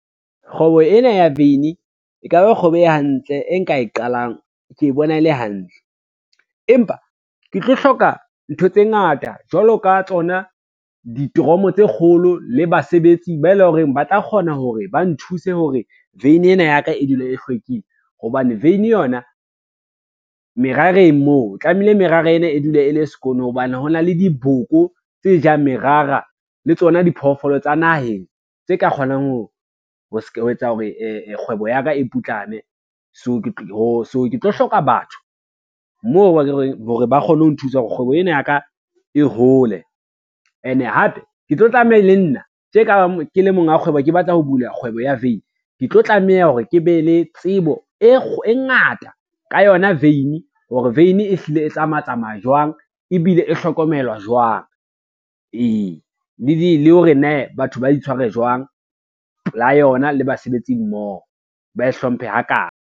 Kgwebo ena ya vein e ka ba kgwebo e hantle e nka e qalang ke bona e le hantle, empa ke tlo hloka ntho tse ngata jwalo ka tsona ditoromo tse kgolo le basebetsi ba e leng hore ba tla kgona hore ba nthuse hore veine ena ya ka e dula e hlwekile hobane vein yona, merareng moo tlamehile merara ena e dule e le sekono hobane ho na le diboko tse jang merara le tsona diphoofolo tsa naheng tse ka kgonang ho etsa hore kgwebo ya ka e putlame. So ke tlo hloka batho moo hore ba kgone ho nthusa hore kgwebo ena ya ka e hole ene hape, ke tlo tlameha le nna tje ka ke le monga kgwebo, ke batla ho bula kgwebo ya veini, ke tlo tlameha hore ke be le tsebo e ngata ka yona vein hore vein e hlile e tsamaya tsamaya jwang, ebile e hlokomelwa jwang, ee le hore ne batho ba di tshware jwang pola yona le basebetsi mmoho ba e hlomphe ha kaye.